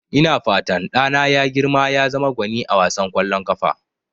Ina fatan ɗana ya girma ya zama gwani a wasan ƙwallon ƙafa.